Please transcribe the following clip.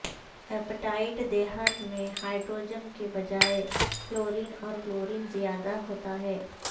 appetite دھات میں hydrogen کے بجائے فلورین اور کلورین زیادہ ہوتا ہے